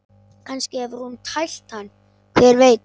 Kannski hefur hún tælt hann, hver veit?